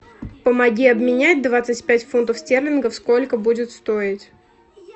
помоги обменять двадцать пять фунтов стерлингов сколько будет стоить